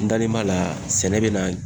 N dalen b'a la sɛnɛ be na